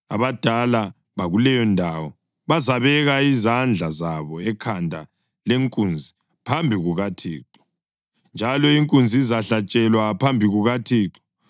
Abadala bakuleyondawo bazabeka izandla zabo ekhanda lenkunzi phambi kukaThixo, njalo inkunzi izahlatshelwa phambi kukaThixo.